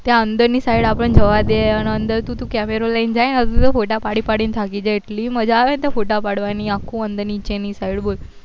ત્યાં અંદર ની side આપડે ને જવાદે અને તું અંદર તો camara લઈને જાય તો યતું photo પડી પડી ને થાકી જાય એટલી મજા આવે છે ને ત્યાં photo પડવાની આખું અંદર નીચે ની side બોલ